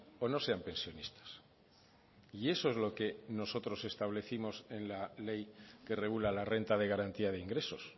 o no sean pensionistas y eso es lo que nosotros establecimos en la ley que regula la renta de garantía de ingresos